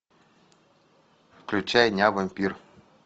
включай ня вампир